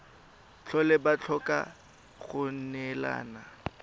tlhole ba tlhoka go neelana